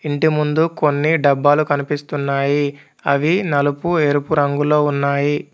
ఇంటి ముందు కొన్ని డబ్బాలు కనిపిస్తున్నాయి అవి నలుపు ఎరుపు రంగులో ఉన్నాయి.